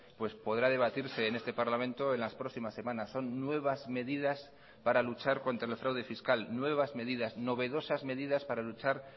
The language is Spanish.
pues podrá debatirse en este parlamento en las próximas semanas son nuevas medidas para luchar contra el fraude fiscal nuevas medidas novedosas medidas para luchar